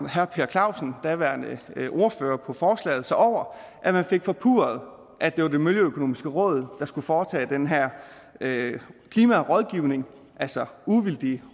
herre per clausen daværende ordfører på forslaget sig over at man fik forpurret at det var det miljøøkonomiske råd der skulle foretage den her klimarådgivning altså uvildige